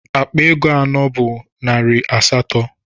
Akpa ego anọ bu nari asatọ.